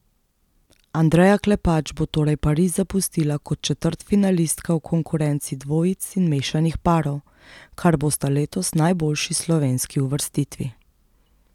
Andreja Klepač bo torej Pariz zapustila kot četrtfinalistka v konkurenci dvojic in mešanih parov, kar bosta letos najboljši slovenski uvrstitvi.